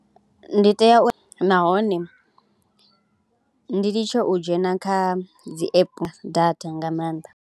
Ndi tea u nahone ndi litshe u dzhena kha dzi app data nga maanḓa.